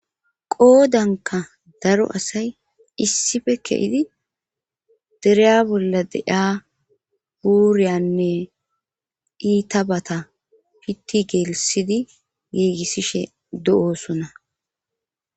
Qoodanka daro asay issife kehidi dereya bolla deaa buuriyanne iitabata pitti geelisidi giigissishe do7oosona.